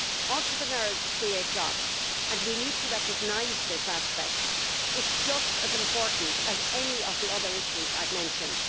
Entrepreneurs create jobs, and we need to recognise this aspect it is just as important as any of the other issues I have mentioned.